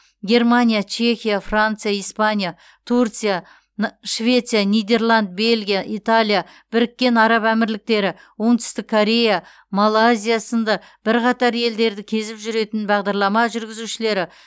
германия чехия франция испания турция на швеция нидерланд бельгия италия біріккен араб әмірліктері оңтүстік корея малайзия сынды бірқатар елдерді кезіп жүретін бағдарлама жүргізушілері